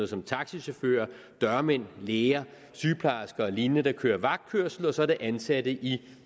som taxachauffører dørmænd læger sygeplejersker og lignende der kører vagtkørsel og så er det ansatte i